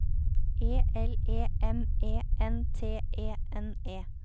E L E M E N T E N E